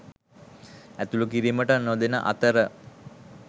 ඇතුළු කිරීමට නොදෙන අතර